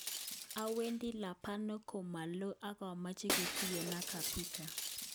Awendi Lebanon ko ma lo ak apache ketugen ak kabika."